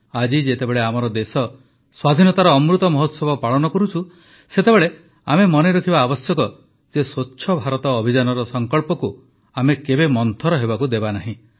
ଆଜି ଯେତେବେଳେ ଆମର ଦେଶ ସ୍ୱାଧୀନତାର ଅମୃତ ମହୋତ୍ସବ ପାଳନ କରୁଛୁ ସେତେବେଳେ ଆମେ ମନେ ରଖିବା ଆବଶ୍ୟକ ଯେ ସ୍ୱଚ୍ଛ ଭାରତ ଅଭିଯାନର ସଙ୍କଳ୍ପକୁ ଆମେ କେବେ ମନ୍ଥର ହେବାକୁ ଦେବା ନାହିଁ